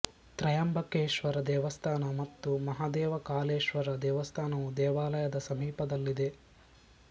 ತ್ರಯಂಬಕೇಶ್ವರ ದೇವಸ್ಥಾನ ಮತ್ತು ಮಹಾದೇವ ಕಾಲೇಶ್ವರ ದೇವಸ್ಥಾನವು ದೇವಾಲಯದ ಸಮೀಪದಲ್ಲಿದೆ